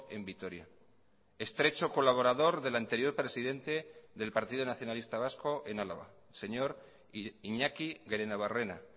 en vitoria estrecho colaborador del anterior presidente del partido nacionalista vasco en álava señor iñaki gerenabarrena